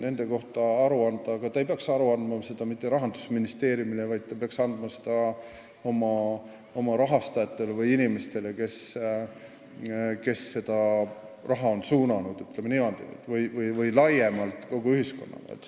Selle kohta tuleks aru anda, aga mitte Rahandusministeeriumile – nad peaks aru andma oma rahastajatele, inimestele, kes on neile raha suunanud, või kogu ühiskonnale laiemalt.